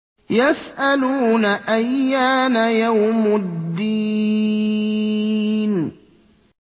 يَسْأَلُونَ أَيَّانَ يَوْمُ الدِّينِ